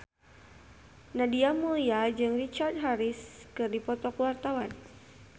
Nadia Mulya jeung Richard Harris keur dipoto ku wartawan